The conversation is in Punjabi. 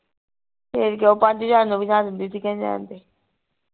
ਫੇਰ ਕਿ ਉਹ ਪੰਜ ਹਜਾਰ ਨੂੰ ਦਿੰਦੀ ਸੀ ਕਹਿੰਦੀ ਰਹਿਣ ਦੇ